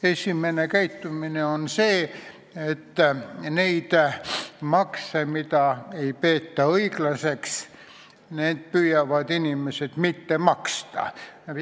Esiteks see, et neid makse, mida ei peeta õiglaseks, püütakse mitte maksta.